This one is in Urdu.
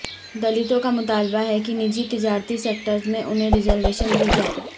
دلتوں کا مطالبہ ہے کہ نجی تجارتی سیکٹرز میں انہیں ریزرویشن دی جائے